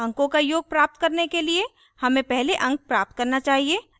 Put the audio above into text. अंकों का योग प्राप्त करने के लिए हमें पहले अंक प्राप्त करना चाहिए